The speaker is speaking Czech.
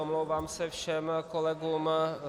Omlouvám se všem kolegům.